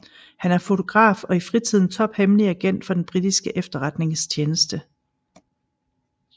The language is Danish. Han er fotograf og i fritiden tophemmelig agent for den britiske efterretningstjeneste